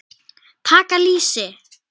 Taka lýsi!